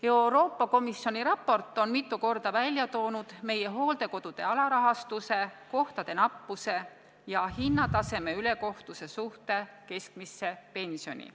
Euroopa Komisjoni raport on mitu korda välja toonud meie hooldekodude alarahastuse, kohtade nappuse ja hinnataseme ülekohtuse kõrguse võrreldes keskmise pensioniga.